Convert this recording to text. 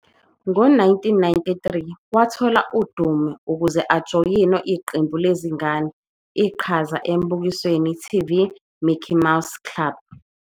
Ngo-1993 wathola udumo real ukuze ujoyine iqembu lezingane iqhaza embukisweni TV Mickey Mouse Club.